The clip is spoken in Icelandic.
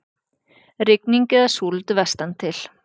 Rigning eða súld vestantil